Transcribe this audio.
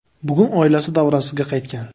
Bugun oilasi davrasiga qaytgan.